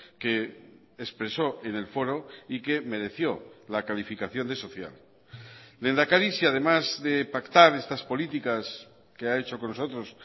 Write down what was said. que expresó en el foro y que mereció la calificación de social lehendakari si además de pactar estas políticas que ha hecho con nosotros